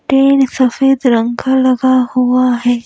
Train सफेद रंग का लगा हुआ है ।